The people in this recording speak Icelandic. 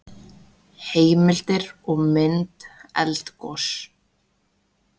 Heimildir og mynd Eldgos.